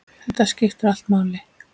Þetta skiptir allt máli.